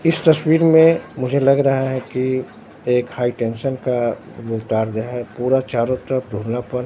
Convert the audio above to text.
इस तस्वीर में मुझे लग रहा है कि एक हाई टेंशन का जो तार जो है पूरा चारों तरफ --